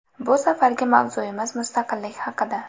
Bu safargi mavzuimiz mustaqillik haqida.